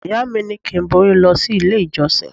Ìyá mi ní kí n borí lọ sí ilé ìjọsìn.